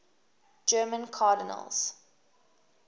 german cardinals